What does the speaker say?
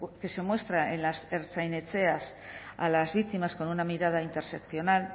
que se muestra en las ertzainetxeas a las víctimas con una mirada interseccional